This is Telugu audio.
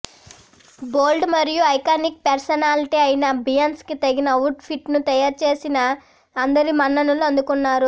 బోల్డ్ మరియు ఐకానిక్ పెర్సనాలిటీ అయినా బియాన్స్ కి తగిన అవుట్ ఫిట్ ను తయారుచేసి అందరి మన్ననలు అందుకున్నారు